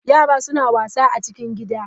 Yara suna wasa a cikin gida.